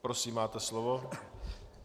Prosím, máte slovo.